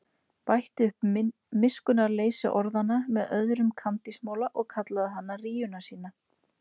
Bætti upp miskunnarleysi orðanna með öðrum kandísmola og kallaði hana rýjuna sína.